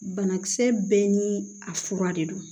Banakisɛ bɛɛ ni a fura de don